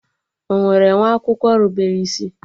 Ọ nwere nwa akwụkwọ rubere isi?